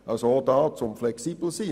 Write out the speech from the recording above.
also auch hier, um flexibel zu sein.